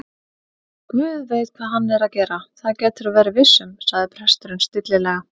Guð veit hvað hann er að gera, það geturðu verið viss um- sagði presturinn stillilega.